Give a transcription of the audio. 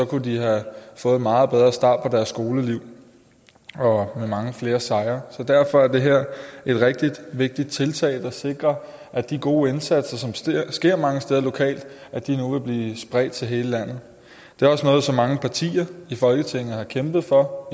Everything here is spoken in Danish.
kunne de have fået en meget bedre start på deres skoleliv med mange flere sejre derfor er det her et rigtig vigtigt tiltag der sikrer at de gode indsatser som sker mange steder lokalt nu vil blive spredt til hele landet det er også noget som mange partier i folketinget har kæmpet for